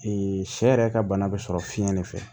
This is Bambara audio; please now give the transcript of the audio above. sɛ yɛrɛ ka bana bɛ sɔrɔ fiɲɛ de fɛ